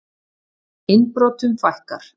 Innbrotum fækkar